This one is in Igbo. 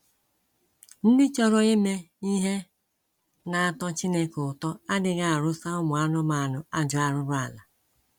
Ndị chọrọ ime ihe na - atọ Chineke ụtọ adịghị arụsa ụmụ anụmanụ ajọ arụrụala..